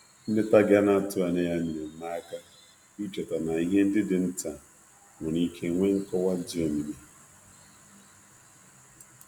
Nleta gị ana-atụghị anya ya nyeere m aka icheta na ihe ndi dị nta nwere ike nwee nkọwa di omimi.